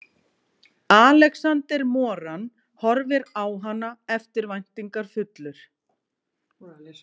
Alexander Moran horfir á hana eftirvæntingarfullur.